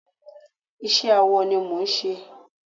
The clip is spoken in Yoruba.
iṣẹ awọ ni mò ń ṣe